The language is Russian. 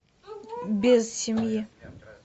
без семьи